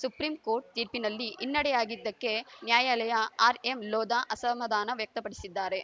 supreme court ತೀರ್ಪಿನಲ್ಲಿ ಹಿನ್ನಡೆಯಾಗಿದ್ದಕ್ಕೆ ನ್ಯಾಯಲಯ ಆರ್‌ಎಂಲೋಧಾ ಅಸಮಾಧಾನ ವ್ಯಕ್ತಪಡಿಸಿದ್ದಾರೆ